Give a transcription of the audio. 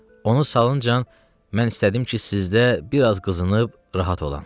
Onu salıncan mən istədim ki, sizdə bir az qızınıb rahat olam.